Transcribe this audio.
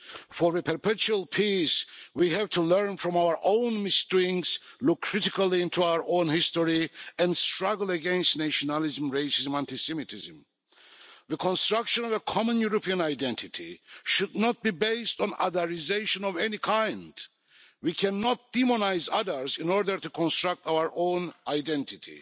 For a perpetual peace, we have to learn from our own misdoings, look critically into our own history and struggle against nationalism, racism and anti-Semitism. The construction of a common European identity should not be based on otherisation of any kind. We cannot demonise others in order to construct our own identity.